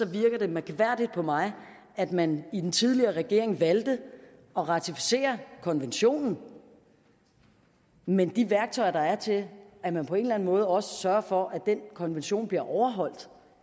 virker det mærkværdigt på mig at man i den tidligere regering valgte at ratificere konventionen men de værktøjer der er til at man på en eller anden måde også sørgede for at den konvention blev overholdt